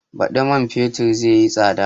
Baɗi man fetur zai yi tsada